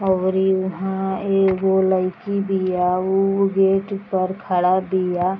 और यहाँ एगो लईकी बिया उ बेड पर खड़ा बिया |.